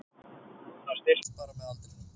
Hann styrkist bara með aldrinum